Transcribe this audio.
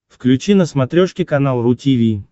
включи на смотрешке канал ру ти ви